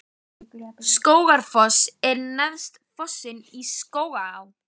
Skógafoss er neðsti fossinn í Skógaá.